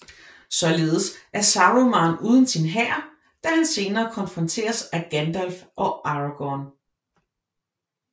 Således er Saruman uden sin hær da han senere konfronteres af Gandalf og Aragorn